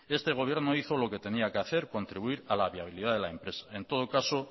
este gobierno hizo lo que tenía que hacer contribuir a la viabilidad de la empresa en todo caso